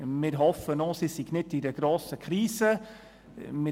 Wir hoffen auch, dass es nicht in einer grossen Krise steckt.